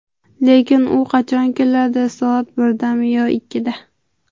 Lekin u qachon keladi, soat birdami yoki ikkida?